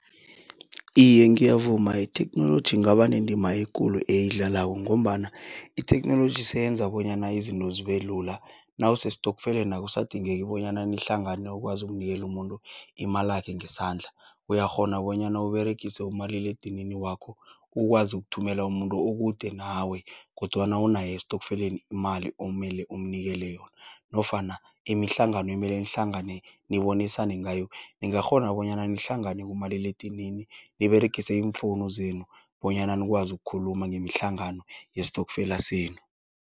Iye ngiyavuma itheknoloji ingaba nendima ekulu eyidlalako, ngombana itheknoloji seyenza bonyana izinto zibelula. Nawusestokfeleni, akusadingeki bonyana nihlangane ukwazi ukunikeli umuntu imalakhe ngesandla. Uyakghona bonyana Uberegise umaliledinini wakho, ukwazi ukuthumela umuntu okude nawe, kodwana unaye estofkeleni imali, omele umnikeli yona. Nofana imihlangano emele nihlangane nibonisane ngayo. Ningakghona bonyana nhlangane kumaliledinini niberegise iimfounu zenu, bonyana nikwazi ukukhuluma ngemihlangano yestokfela senu.